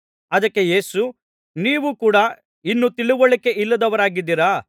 ಅದಕ್ಕೆ ಯೇಸು ನೀವೂ ಕೂಡಾ ಇನ್ನೂ ತಿಳಿವಳಿಕೆ ಇಲ್ಲದವರಾಗಿದ್ದೀರಾ